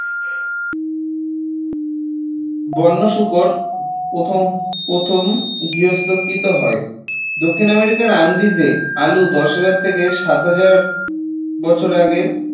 বন্য শূকর প্রথম প্রথম গার্হস্থ্যকৃত হয় দক্ষিণ আমেরিকার আন্দিজে আলু দশ হাজার থেকে সাত হাজার বছর আগের